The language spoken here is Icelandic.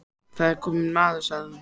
Það er kominn maður, sagði hún.